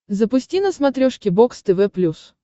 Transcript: запусти на смотрешке бокс тв плюс